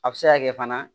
A bɛ se ka kɛ fana